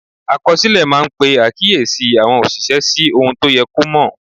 Àkọsílẹ̀ máa ń pe àkíyèsí àwọn òṣìṣẹ́ sí ohun tó yẹ kó mọ̀.